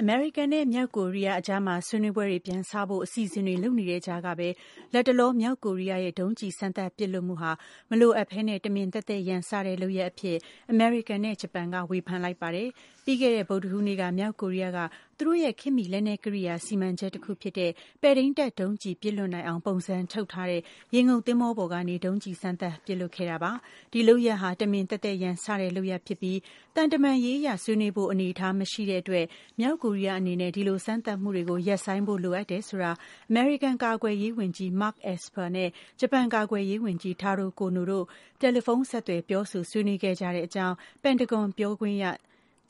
အမေရိကန်နဲ့ မြောက်ကိုရီးယားကြားဆွေးနွေးမှုတွေပြန်စဖို့ အစီအစဉ်တွေလုပ်နေတဲ့ ကြားက လတ်တလော မြောက်ကိုရီးယားရဲ့ ဒုံးကျည်စမ်းသပ်ပစ်လွှတ်မှုဟာ မလိုအပ်ပဲတမင်သက်သက်ရန်စတဲ့လုပ်ရပ် အဖြစ် အမေရိကန်နဲ့ ဂျပန်က ဝေဖန်လိုက်ပါတယ်။ ပြီးခဲ့တဲ့ ဗုဒ္ဓဟူးနေ့က မြောက်ကိုရီးယားက သူတို့ရဲ့ ခေတ်မီ လက်နက်ကရိယာ စီမံချက် တခုဖြစ်တဲ့ ပဲ့ထိန်းတပ်ဒုံးကျည်ပစ်လွှတ်နိုင်အောင် ပုံစံထုတ်လုပ်ထားတဲ့ ရေငုပ်သင်္ဘောပေါ်ကနေ ဒုံးကျည်စမ်းသပ်ပစ်လွှတ်ခဲ့တာပါ။ ဒီလုပ်ရပ်ဟာ တမင်သက်သက်ရန်စတဲ့ လုပ်ရပ်ဖြစ်ပြီး သံတမန်ရေးအရ ဆွေးနွေးဖို့ အနေအထားမရှိတဲ့ အတွက် မြောက်ကိုရီးယားအနေနဲ့ ဒီလို စမ်းသပ်မှုတွေကို ရပ်ဆိုင်းဖို့လိုအပ်တယ်ဆိုတာ အမေရိကန် ကာကွယ်ရေးဝန်ကြီး Mark Esper နဲ့ ဂျပန် ကာကွယ်ရေးဝန်ကြီး Taro Kono တို့ တယ်လီဖုန်းဆက်သွယ်ပြောဆို ဆွေးနွေးခဲ့ကြကြောင်း ပင်တဂွန် ပြောခွင့်ရ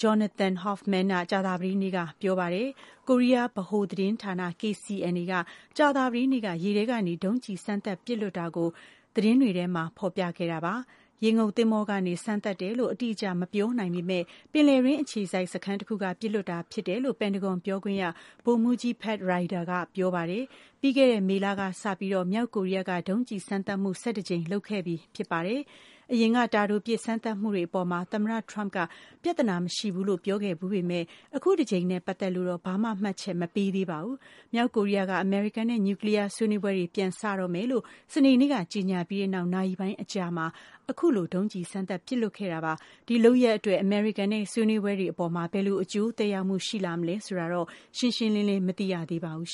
Jonathan Hoffman က ကြာသပတေးနေ့က ပြောပါတယ်။ ကိုရီးယားဗဟို သတင်းဌာန KCNA က ကြာသပတေးနေ့က ရေထဲကနေ ဒုံးကျည် စမ်းသပ် ပစ်လွှတ်တာကို သတင်းတွေမှာ ဖော်ပြခဲ့ကြတာပါ။ ရေငုပ်သင်္ဘောကနေ စမ်းသပ်တယ်လို့ အတိအကျမပြောနိုင်ပေမဲ့ ပင်လယ်တွင်း အခြေစိုက်စခန်းတခုက ပစ်လွှတ်တာ ဖြစ်တယ်လို့ ပင်တဂွန်ပြောခွင့်ရ ဗိုလ်မှူးကြီး Pat Ryder က ပြောပါတယ်။ ပြီးခဲ့တဲ့ မေလကစပြီး မြောက်ကိုရီးယားက ဒုံးကျည်စမ်းသပ်မှု ၁၁ ကြိမ်လုပ်ခဲ့ပြီးဖြစ်ပါတယ်။ အရင်က တာတိုပစ် စမ်းသပ်မှုတွေ အပေါ် သမ္မတ ထရမ့် က ပြဿနာမရှိဘူးလို့ပြောခဲ့ဖူးပေမဲ့ အခုတကြိမ်နဲ့ ပတ်သက်လို့တော့ ဘာမှ မှတ်ချက်မပေးသေးပါဘူး။ မြောက်ကိုရီးယားက အမေရိကန်နဲ့ နျူကလီးယားဆွေးနွေးပွဲတွေ ပြန်စ တော့မယ်လို့ စနေနေ့ ကကြေညာပြီးနောက် နာရီပိုင်းအကြာမှာပဲ အခုလို ဒုံးကျည်စမ်းသပ်ပစ်လွှတ်ခဲ့တာပါ။ ဒီလုပ်ရပ်အတွက် အမေရိကန်နဲ့ ဆွေးနွေးပွဲတွေ အပေါ် ဘယ်လို အကျိုးသက်ရောက်မှု ရှိလာမလဲ ဆိုတာတော့ ရှင်းရှင်းလင်းလင်း မသိရသေးပါဘူး